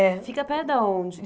É. Fica perto de onde?